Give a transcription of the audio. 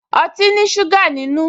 Ọtí ní ṣúgà nínú